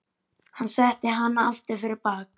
Hann setti hana aftur fyrir bak.